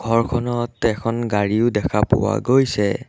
ঘৰখনত এখন গাড়ীও দেখা পোৱা গৈছে।